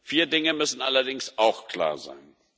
Vier Dinge müssen allerdings auch klar sein.